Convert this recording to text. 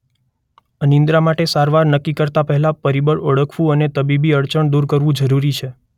અનિદ્રા માટેની સારવાર નક્કી કરતા પહેલા પરિબળ ઓળખવુ અથવા તબીબી અડચણ દૂર કરવુ જરૂરી છે.